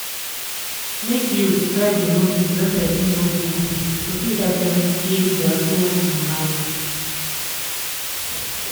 make youth try dey notice wen person no dey happy to fit help dem heal dia sould and mind